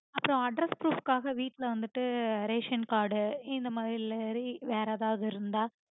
அப்புறம் address proof காக வீட்ல வந்துட்டு ration card இந்தமாதிரி இல்ல வேற எதாவது இருந்த